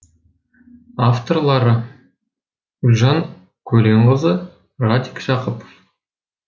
авторлары гүлжан көленқызы радик жақыпов